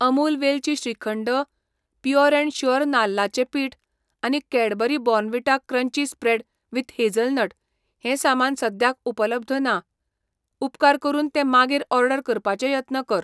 अमूल वेलची shrikhand, pure and sure नाल्लाचें पिठ आनी Cadbury Bournvita crunchy spread with hazelnut हें सामान सद्याक उपलब्ध नात, उपकार करून ते मागीर ऑर्डर करपाचे यत्न कर.